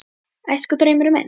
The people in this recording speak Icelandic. Æskudraumurinn minn?